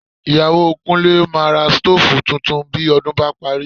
Ìyàwó Kúnlé máa ra sítóòfù tuntun bí ọdún bá parí